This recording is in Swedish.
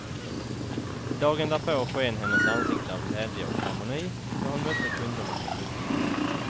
Dagen därpå sken hennes ansikte av glädje och harmoni, då hon mötte kunderna i bokhandeln.